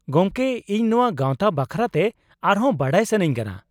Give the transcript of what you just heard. ᱜᱚᱢᱠᱮ, ᱤᱧ ᱱᱚᱶᱟ ᱜᱟᱶᱛᱟ ᱵᱟᱠᱷᱨᱟ ᱛᱮ ᱟᱨᱦᱚᱸ ᱵᱟᱰᱟᱭ ᱥᱟᱱᱟᱧ ᱠᱟᱱᱟ ᱾